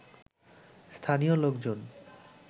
স্থানীয় লোকজন